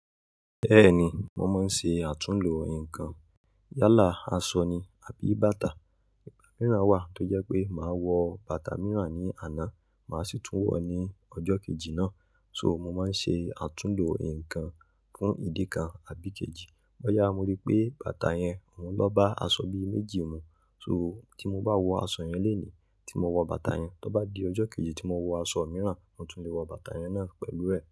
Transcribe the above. Bẹ́ẹ̀ni, mo máa ń ṣe àtúnlò nǹkan. Yálà, aṣọ ni àbí bàtà. Ìgbà mìíràn wà tó jẹ́ pé màá wọ bàtà mìíràn ní àná, màá sì tún wọ̀ ọ́ ní ọjọ́ kejì náà. So mo máa ń ṣe àtúnlo ǹkan fún ìdí kan àbí kejì. Bọ́yá mo rí pé bàtà yẹn òún lọ́ bá aṣọ bí méjì mu. So tí mo bá wọ aṣọ yẹn lónìí tí mo wọ bàtà yẹn, tó bá di ọjọ́ kejì tí mo wọ aṣọ mìíràn, mo tún lè wọ bàtà yẹn náà pẹ̀lú rẹ̀